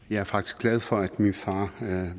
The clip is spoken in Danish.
jeg er faktisk glad for at min far